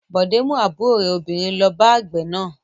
Bọ̀dé mú àbúrò rẹ̀ obìnrin lọ bá àgbẹ̀ náà.